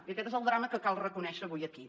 i aquest és el drama que cal reconèixer avui aquí